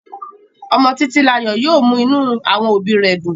Ọmọ titilayo yóò mú inú àwọn òbí rẹ̀ dùn.